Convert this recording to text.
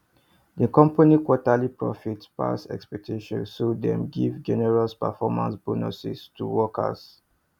di company quarterly profits pass expectations so dem give generous performance bonuses to workers